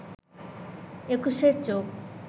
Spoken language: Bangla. একুশের চোখ